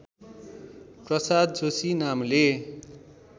प्रसाद जोशी नामले